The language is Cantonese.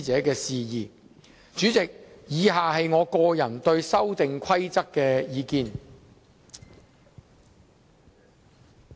代理主席，以下是我個人對《修訂規則》的意見。